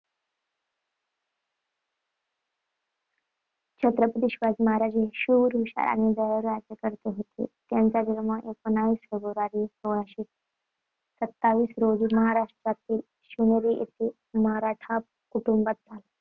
छत्रपती शिवाजी महाराज हे शूर, हुशार आणि दयाळू राज्यकर्ते होते. त्यांचा जन्म एकोणीस फेब्रुवारी सोळाशे सत्तावीस रोजी महाराष्ट्राती शिवनेरी येथे मराठा कुटुंबात झाला.